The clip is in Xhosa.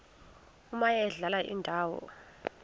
omaye adlale indawo